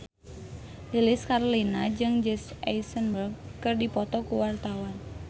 Lilis Karlina jeung Jesse Eisenberg keur dipoto ku wartawan